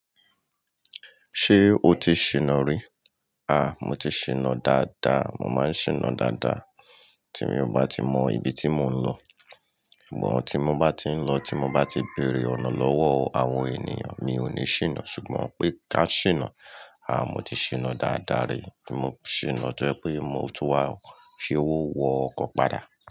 Ṣé o ti ṣìnà rí? A! Mo ti ṣìnà dáadáa, mo máa ń ṣìnà dáadáa. Tí mi oo bá ti mọ ibi tí mò ń lọ, sugbon tí mo bá ti ń lọ, tí mo bá ti béèrè ọ̀nà lọ́wọ́ àwọn ènìyàn mi ò ní ṣìnà. Ṣùgbọ́n pé ká ṣìnà, a! Mo ti ṣìnà dáadáa rí. Mo ṣìnà to jẹ pé mo tun wá fi owó wo ọkọ̀ padà.